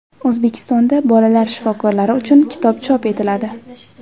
O‘zbekistonda bolalar shifokorlari uchun kitob chop etiladi.